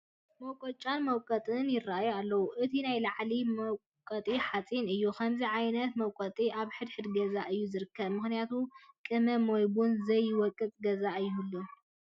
መቆጫን መውቀጥን ይርአዩ ኣለዉ፡፡ እቲ ናይ ላዕሊ መውቀጢ ሓፂን እዩ፡፡ ከምዚ ዓይነት መውቀጢ ኣብ ሕድ ሕድ ገዛ እዩ ዝርከብ፡፡ ምኽንያቱም ቅመም ወይ ቡን ዘይወቅጥ ገዛ ኣይህሉን፡፡